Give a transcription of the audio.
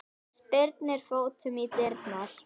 Spyrnir fótunum í dyrnar.